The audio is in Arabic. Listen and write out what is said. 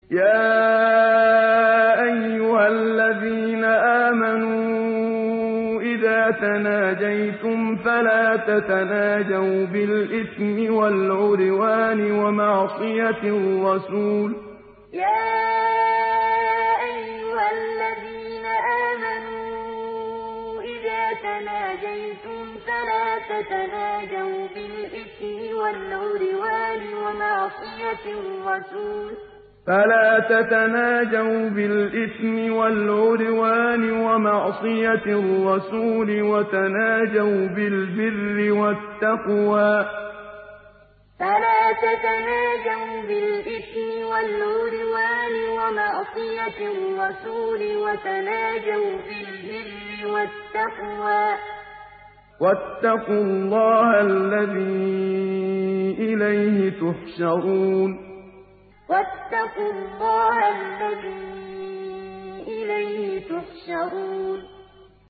يَا أَيُّهَا الَّذِينَ آمَنُوا إِذَا تَنَاجَيْتُمْ فَلَا تَتَنَاجَوْا بِالْإِثْمِ وَالْعُدْوَانِ وَمَعْصِيَتِ الرَّسُولِ وَتَنَاجَوْا بِالْبِرِّ وَالتَّقْوَىٰ ۖ وَاتَّقُوا اللَّهَ الَّذِي إِلَيْهِ تُحْشَرُونَ يَا أَيُّهَا الَّذِينَ آمَنُوا إِذَا تَنَاجَيْتُمْ فَلَا تَتَنَاجَوْا بِالْإِثْمِ وَالْعُدْوَانِ وَمَعْصِيَتِ الرَّسُولِ وَتَنَاجَوْا بِالْبِرِّ وَالتَّقْوَىٰ ۖ وَاتَّقُوا اللَّهَ الَّذِي إِلَيْهِ تُحْشَرُونَ